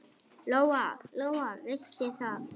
Lóa-Lóa vissi það.